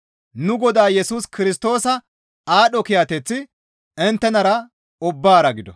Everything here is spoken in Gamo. Nu Godaa Yesus Kirstoosa aadho kiyateththi inttenara ubbaara gido.